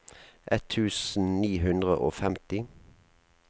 ett tusen ni hundre og femti